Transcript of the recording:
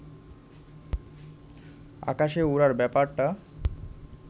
আকাশে ওড়ার ব্যাপারটা